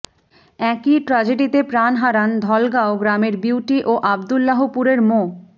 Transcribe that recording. একই ট্র্যাজেডিতে প্রাণ হারান ধলাগাঁও গ্রামের বিউটি ও আবদুল্লাহপুরের মো